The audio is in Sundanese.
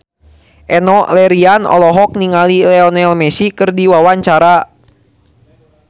Enno Lerian olohok ningali Lionel Messi keur diwawancara